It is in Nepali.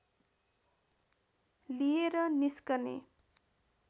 लिएर निस्कने